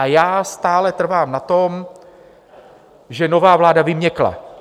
A já stále trvám na tom, že nová vláda vyměkla.